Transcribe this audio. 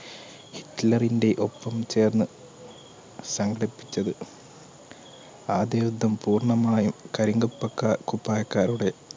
ഹിറ്റ്ലർന്റെ ഒപ്പം ചേർന്ന് സങ്കടിപ്പിച്ചത് ആദ്യ യുദ്ധം പൂർണമായും കരിങ്കൽ പക്ക കുപ്പായക്കാരുടെ